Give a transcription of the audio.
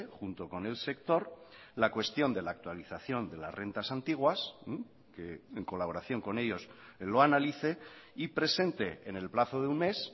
junto con el sector la cuestión de la actualización de las rentas antiguas que en colaboración con ellos lo analice y presente en el plazo de un mes